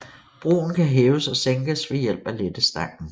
Broen kan hæves og sænkes ved hjælp af lettestangen